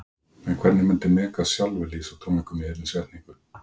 En hvernig myndi Megas sjálfur lýsa tónleikunum í einni setningu?